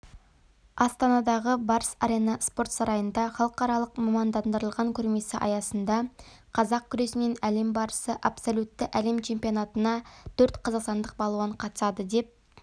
астанадағы барыс арена спорт сарайында халықаралық мамандандырылған көрмесі аясында қазақ күресінен әлем барысы абсолютті әлем чемпионатына төрт қазақстандық балуан қатысады деп